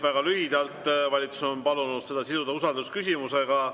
Väga lühidalt: valitsus on palunud selle siduda usaldusküsimusega.